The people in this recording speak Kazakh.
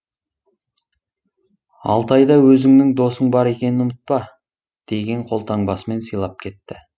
алтайда өзіңнің досың бар екенін ұмытпа деген қолтаңбасымен сыйлап кетті